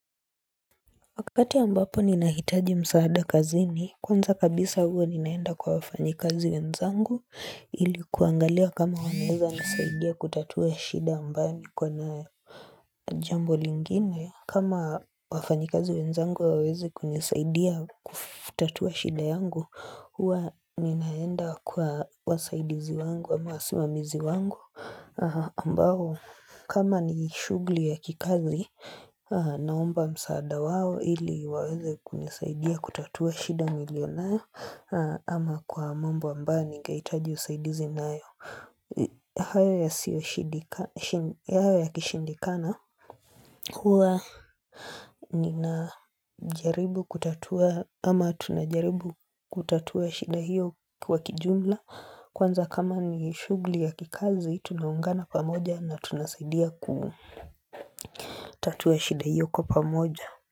Wakati ambapo ninahitaji msaada kazini, kwanza kabisa huwa ninaenda kwa wafanyikazi wenzangu ili kuangalia kama wanaeza nisaidia kutatua shida ambayo niko nayo na jambo lingine. Kama wafanyikazi wenzangu hawawezi kunisaidia kutatua shida yangu, huwa ninaenda kwa wasaidizi wangu, ama wasimamizi wangu. Ambao kama ni shughuli ya kikazi naomba msaada wao ili waweze kunisaidia kutatua shida nilionayo ama kwa mambo ambayo ningehitaji usaidizi nayo hayo yakishindikana huwa ninajaribu kutatua ama tunajaribu kutatua shida hiyo kwa kijumla Kwanza kama ni shughuli ya kikazi tunaungana pamoja na tunasaidia kutatua shida hiyo kwa pamoja.